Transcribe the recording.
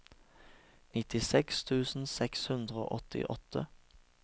nittiseks tusen seks hundre og åttiåtte